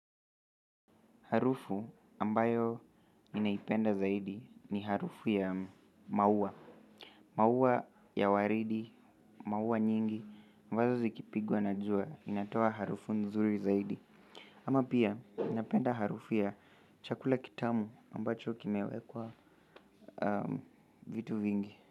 Harufu ambayo ninaipenda zaidi ni harufu ya maua. Maua ya waridi, maua nyingi, mwanzo zikipigwa na jua inatoa harufu nzuri zaidi. Ama pia napenda harufu ya chakula kitamu ambacho kimewekwa vitu vingi.